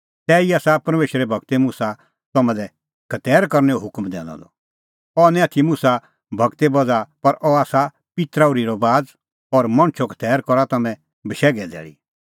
तैही आसा परमेशरे गूर मुसा तम्हां लै खतैर करनैओ हुकम दैनअ द अह निं आथी मुसा गूरे बज़्हा पर अह आसा पित्तरा ओर्ही रबाज़ और मणछो खतैर करा तम्हैं बशैघे धैल़ी